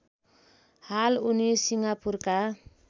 हाल उनी सिङ्गापुरका